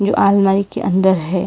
ये अलमारी के अंदर है।